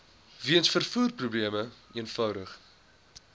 weens vervoerprobleme eenvoudig